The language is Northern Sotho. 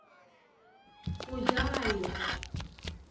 go ja a ye go